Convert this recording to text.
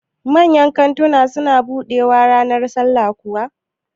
Manyan kantuna su na buɗewaa ranar sallah kuwa?